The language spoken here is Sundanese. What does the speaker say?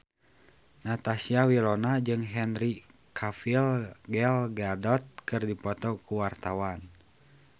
Natasha Wilona jeung Henry Cavill Gal Gadot keur dipoto ku wartawan